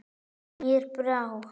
Mér brá.